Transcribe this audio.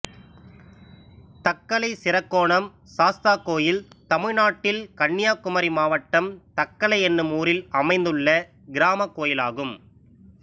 Thuckalay Sirakkonam Sastha கோயில் தமிழ்நாட்டில் கன்னியாகுமரி மாவட்டம் தக்கலை என்னும் ஊரில் அமைந்துள்ள கிராமக் கோயிலாகும்